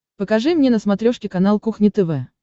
покажи мне на смотрешке канал кухня тв